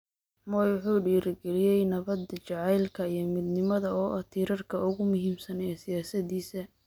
Moi wuxuu dhiirigeliyay nabadda, jacaylka, iyo midnimada oo ah tiirarka ugu muhiimsan ee siyaasaddiisa.